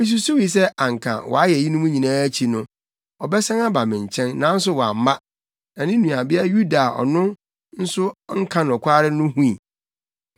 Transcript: Misusuwii sɛ anka wayɛ eyinom nyinaa akyi no, ɔbɛsan aba me nkyɛn nanso wamma, na ne nuabea Yuda a ɔno nso nka nokware no hui.